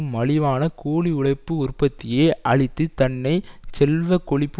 மலிவான கூலி உழைப்பு உற்பத்தியை அளித்துத் தன்னை செல்வ கொழிப்பு